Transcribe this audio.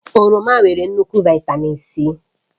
Oroma nwere nnukwu Vị́tamị́n C